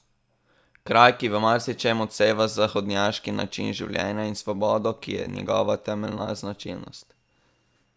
Kraj, ki v marsičem odseva zahodnjaški način življenja in svobodo, ki je njegova temeljna značilnost.